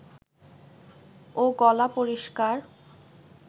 ও গলা পরিষ্কার